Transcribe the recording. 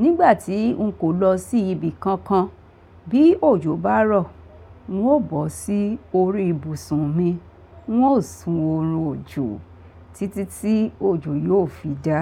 nígbà tí n kò lọ sí ibi kankan, bí òjò bá rọ̀, n ó bọ́ sí orí ibùsùn mi, n ó sun orò òjò títí tí òjò yóò fi dá.